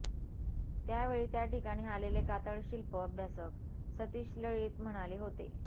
त्यावेळी त्याठिकाणी आलेले कातळशिल्प अभ्यासक सतीश लळीत म्हणाले होते